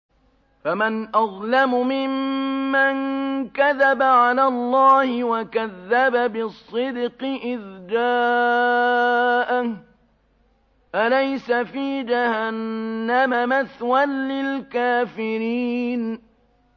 ۞ فَمَنْ أَظْلَمُ مِمَّن كَذَبَ عَلَى اللَّهِ وَكَذَّبَ بِالصِّدْقِ إِذْ جَاءَهُ ۚ أَلَيْسَ فِي جَهَنَّمَ مَثْوًى لِّلْكَافِرِينَ